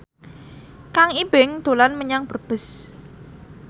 Kang Ibing dolan menyang Brebes